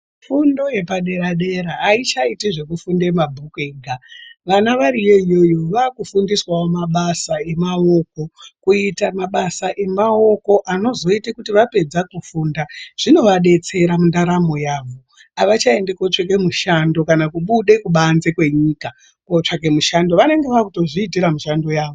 Fundo yepadera -dera haichaiti zvekufunda mabhuku ega vana variyo iyoyo vakufundiswavo mabasa emaoko. Kuita mabasa emaoko ano anozoita kuti vapedza kufunda zvinovabetsera mundaramo yavo. Havachaendi kotsveke mushando kana kubude kubanze kwenyika kotsvake mishando vanenge vakutozviitira mishando yavo.